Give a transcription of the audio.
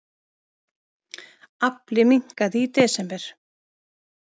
Afli minnkaði í desember